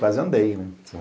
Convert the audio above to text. Quase andei, né?